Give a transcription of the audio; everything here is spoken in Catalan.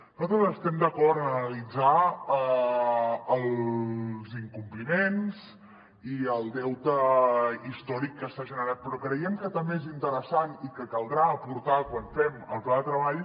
nosaltres estem d’acord en analitzar els incompliments i el deute històric que s’ha generat però creiem que també és interessant i que caldrà aportar quan fem el pla de treball